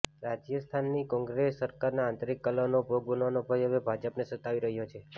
રાજસ્થાનની કોંગ્રેસ સરકારના આંતરીક કલહનો ભોગ બનવાનો ભય હવે ભાજપને સતાવી રહ્યો છે